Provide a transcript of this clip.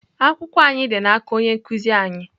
Akwụkwọ anyị dị n'aka onye nkụzi anyị.